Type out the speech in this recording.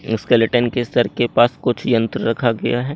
Skeleton के कर के पास कुछ यंत्र रखा गया है।